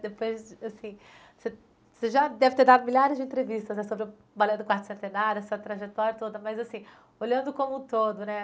Depois, assim, você você já deve ter dado milhares de entrevistas né, sobre o Balé do Quarto Centenário, essa trajetória toda, mas, assim, olhando como um todo, né?